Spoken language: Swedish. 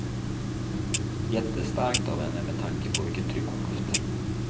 Jättestarkt av henne med tanke på vilket tryck hon haft.